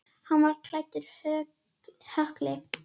Hann var klæddur hökli.